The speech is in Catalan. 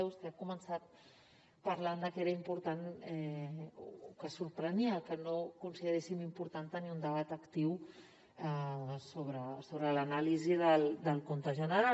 vostè ha començat parlant de que era important o que sorprenia que no consideréssim important tenir un debat actiu sobre l’anàlisi del compte general